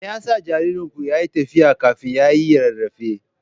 Me yasa jaririnku yake tafiya kafin ya yi rarrafe?